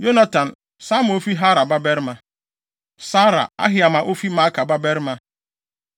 Yonatan, Sama a ofi Harar babarima; Sarar, Ahiam a ofi Maaka babarima;